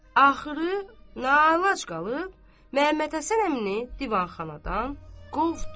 Axırı nağlac qalıb Məhəmmədhəsən əmini divanxanadan qovdu.